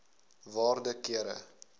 waarde kere